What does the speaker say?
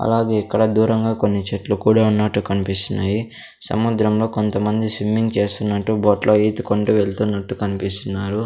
అలాగే ఇక్కడ దూరంగా కొన్ని చెట్లు కూడా ఉన్నట్టు కన్పిస్తున్నాయి సముద్రంలో కొంతమంది స్విమ్మింగ్ చేస్తున్నట్టు బోట్లో ఈతుకొంటూ వెళ్తున్నట్టు కన్పిస్తున్నారు.